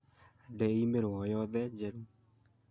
Ndi i-mīrū o yothe njerũ